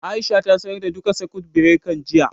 Aisha ta sayar da duka sakut birekan, jiya